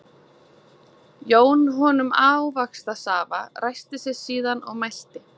Jón honum ávaxtasafa, ræskti sig síðan og mælti